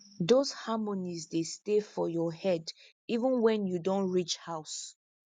those harmonies dey stay for your head even wen you don reach house